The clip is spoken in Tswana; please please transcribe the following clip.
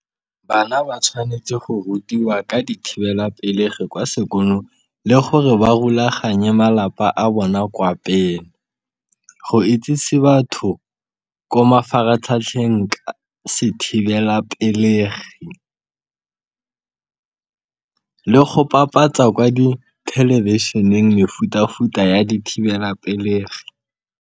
Bana ba tshwanetse go rutiwa ka dithibelapelegi kwa sekolo le gore ba rulaganye malapa a bona kwa pele, go itsise batho ko mafaratlhatlheng sethibelapelegi le go bapatsa kwa dithelebišheneng mefuta-futa ya dithibelapelegi.